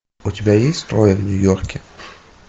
у тебя есть трое в нью йорке